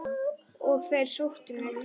Og þeir sóttu mig.